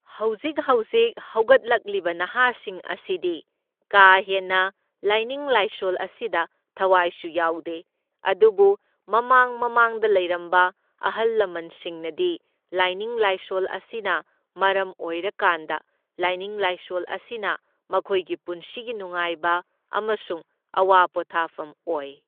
ꯍꯧꯖꯤꯛ ꯍꯧꯖꯤꯛ ꯍꯧꯒꯠꯂꯛꯂꯤꯕ ꯅꯍꯥꯁꯤꯡ ꯑꯁꯤꯗꯤ ꯀꯥ ꯍꯦꯟꯅ ꯂꯥꯏꯅꯤꯡ ꯂꯥꯏꯁꯣꯜ ꯑꯁꯤꯗ ꯊꯋꯥꯏꯁꯨ ꯌꯥꯎꯗꯦ, ꯑꯗꯨꯕꯨ ꯃꯃꯥꯡ ꯃꯃꯥꯡꯗ ꯂꯩꯔꯝꯕ ꯑꯍꯜ ꯂꯃꯟꯁꯤꯡꯅꯗꯤ ꯂꯥꯏꯅꯤꯡ ꯂꯥꯏꯁꯣꯜ ꯑꯁꯤꯅ ꯃꯔꯝ ꯑꯣꯏꯔꯀꯥꯟꯗ ꯂꯥꯏꯅꯤꯡ ꯂꯥꯏꯁꯣꯜ ꯑꯁꯤꯅ ꯃꯈꯣꯏꯒꯤ ꯄꯨꯟꯁꯤꯒꯤ ꯅꯨꯡꯉꯥꯏꯕ ꯑꯃꯁꯨꯡ ꯑꯋꯥ ꯄꯣꯠꯊꯥꯐꯝ ꯑꯣꯏ꯫